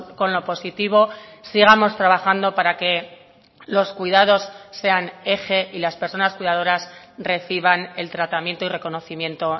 con lo positivo sigamos trabajando para que los cuidados sean eje y las personas cuidadoras reciban el tratamiento y reconocimiento